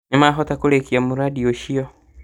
Nĩmahota kũrĩkia mũrandi ũcio